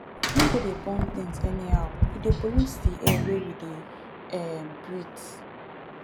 no go dey burn things anyhow e dey pollute di air wey we dey um breet